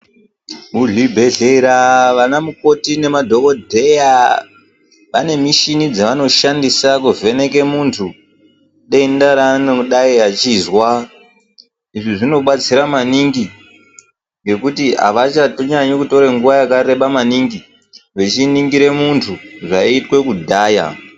Muzvibhehlera vanamukoti nemadhogodheya vane michini dzavanoshandisa kuvheneke muntu denda raanodai achizwa. Izvi zvinobatsira maningi ngekuti havatonyanyi kutore nguva yakareba maningi vechiningire muntu zvaiitwe kudhaya.